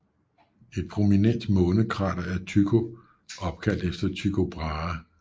Et prominent månekrater er Tycho opkaldt efter Tycho Brahe